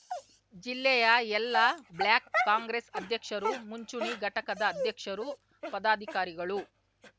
ಜಿಲ್ಲೆಯ ಎಲ್ಲಾ ಬ್ಲಾಕ್‌ ಕಾಂಗ್ರೆಸ್‌ ಅಧ್ಯಕ್ಷರು ಮುಂಚೂಣಿ ಘಟಕದ ಅಧ್ಯಕ್ಷರು ಪದಾಧಿಕಾರಿಗಳು